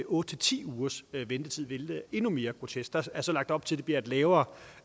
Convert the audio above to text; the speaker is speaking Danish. otte ti ugers ventetid hvilket er endnu mere grotesk der er så lagt op til det bliver lavere